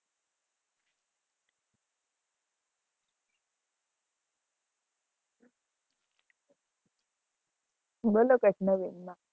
બોલો કંઈક નવીન માં.